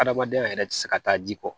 Adamadenya yɛrɛ tɛ se ka taa ji kɔ